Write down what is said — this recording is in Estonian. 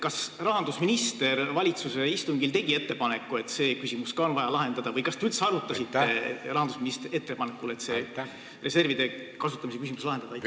Kas rahandusminister tegi valitsuse istungil ettepaneku see küsimus lahendada või kas te üldse arutasite rahandusministri ettepanekul seda, et see reservide küsimus on vaja lahendada?